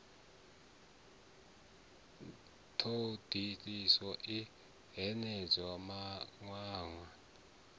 thoḓ uluso i hanedzaho mawanwa